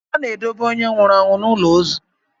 A na-edobe onye nwụrụ anwụ n'ụlọ ozu.